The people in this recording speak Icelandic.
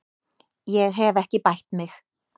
Ég hef ekki bætt mig.